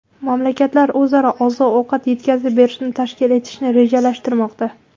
Mamlakatlar o‘zaro oziq-ovqat yetkazib berishni tashkil etishni rejalashtirishmoqda.